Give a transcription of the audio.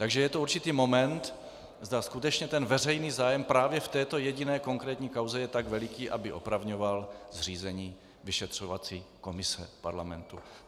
Takže je to určitý moment, zda skutečně ten veřejný zájem právě v této jediné konkrétní kauze je tak veliký, aby opravňoval zřízení vyšetřovací komise parlamentu.